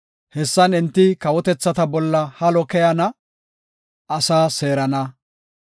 Hessan enti kawotethata bolla halo keyana; asaa seerana.